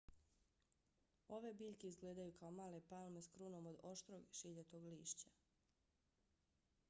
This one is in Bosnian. ove biljke izgledaju kao male palme s krunom od oštrog šiljatog lišća